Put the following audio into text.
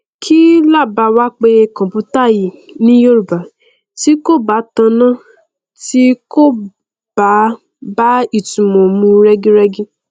kí laà bá wá pe computer yìí ní yorùbá tí kò bá tọnà tí kò bá bá ìtunmọ mu rẹgírẹgí